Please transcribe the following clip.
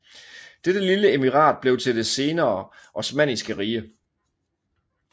Dette lille emirat blev til det senere osmanniske rige